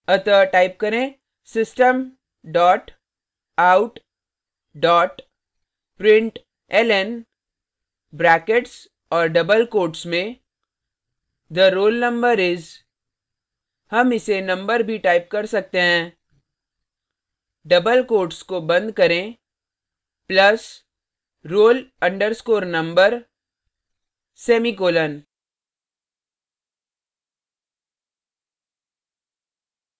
अतः type करें system dot out dot println brackets और double quotes में the roll number is हम इसे number भी type कर सकते हैं; double quotes को बंद करें plus roll _ number semicolon